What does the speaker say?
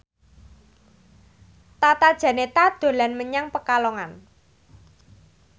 Tata Janeta dolan menyang Pekalongan